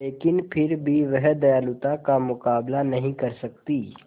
लेकिन फिर भी वह दयालुता का मुकाबला नहीं कर सकती